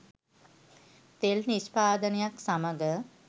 තෙල් නිෂ්පාදනයත් සමග